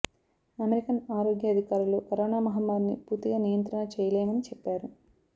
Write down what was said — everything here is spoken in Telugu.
అమెరికన్ ఆరోగ్య అధికారులు కరోనా మహమ్మారిని పూర్తిగా నియంత్రణ చెయ్యలేమని చెప్పారు